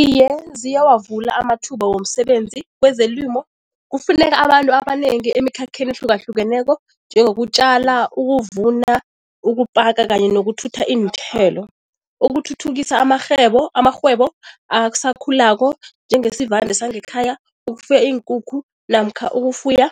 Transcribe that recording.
Iye, ziyawavula amathuba womsebenzi kwezelimo. Kufuneka abantu abanengi emikhakheni ehlukahlukeneko njengokutjalala, ukuvuna, ukupaka kanye nokuthuthu iinthelo, ukuthuthukisa amarhwebo asakhulako njengesivande sangekhaya, ukufuya iinkukhu namkha ukufuya